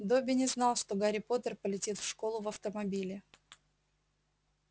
добби не знал что гарри поттер полетит в школу в автомобиле